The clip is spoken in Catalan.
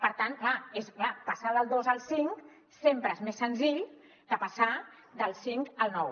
per tant clar passar del dos al cinc sempre és més senzill que passar del cinc al nou